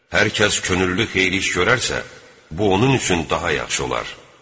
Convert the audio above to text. Hər kəs könüllü xeyirli iş görərsə, bu onun üçün daha yaxşı olar.